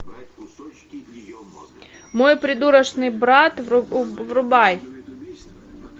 мой придурочный брат врубай